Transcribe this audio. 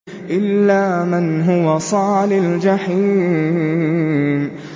إِلَّا مَنْ هُوَ صَالِ الْجَحِيمِ